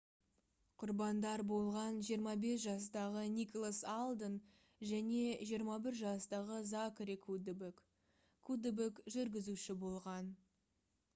құрбандар болған 25 жастағы николас алден және 21 жастағы закари куддебек куддебек жүргізуші болған